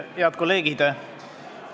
Head kolleegid!